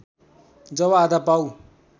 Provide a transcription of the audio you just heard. जब आधा पाउ